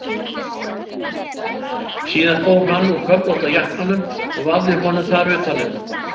Síðan fór hann úr köflótta jakkanum og vafði honum þar utan um.